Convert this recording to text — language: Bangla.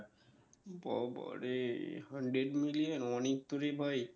বাবারে hundred million অনেক তো রে ভাই